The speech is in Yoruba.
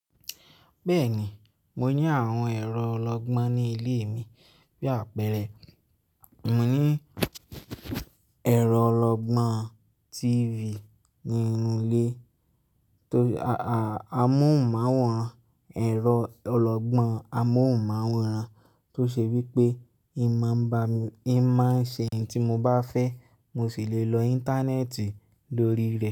Bẹ́ẹ̀ni, mo ní àwọn ẹ̀rọ ọlọ́gbọ́n ní ilé mi. Bí àpẹẹrẹ, mo ní ẹ̀rọ ọlọ́gbọ́n TV ni inú ilé tó, a a, amóhùnmáwòrán, ẹ̀rọ ọlọ́gbọ́n amóhùnmáwòrán tó ṣe wí pé ì má ń ba mi, ì má ń ṣe ohun tí mo bá fẹ́ mo sì lè lọ íńtánẹ́ẹ̀tì lórí rẹ̀